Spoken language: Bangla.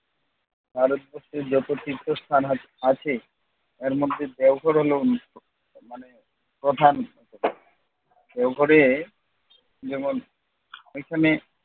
ভারতবর্ষের যত তীর্থস্থান আছ আছে তার মধ্যে দেওঘর হলো অন্যতম মানে প্রধান দেওঘরে যেমন এখানে